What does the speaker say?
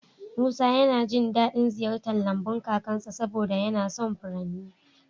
Musa yana jin daɗin ziyartar lambun kakansa saboda yana son furanni.